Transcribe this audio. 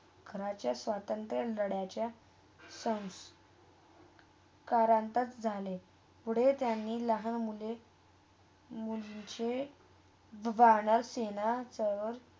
खरंच स्वतंत्र डरच्या संस ~संस्करतक झाले. पुढे त्यांनी लहान मुले -मुलींचे दुगणक सेना जवळ.